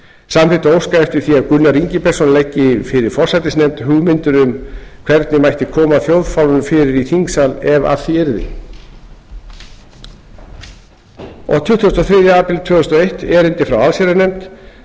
samþykkt að óska eftir því að gunnar ingibergsson leggi fyrir forsætisnefnd hugmyndir um hvernig mætti koma þjóðfána fyrir í þingsal ef af því yrði tuttugasta og þriðja apríl tvö þúsund og eitt erindi frá allsherjarnefnd